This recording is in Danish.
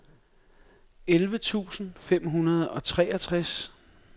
elleve tusind fem hundrede og treogtres